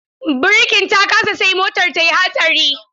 Birkin ta kasa sai motar tayi hatsari.